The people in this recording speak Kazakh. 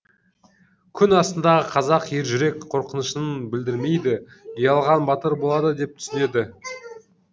күн астындағы қазақ ержүрек қорқынышын білдірмейді ұялған батыр болады деп түсінеді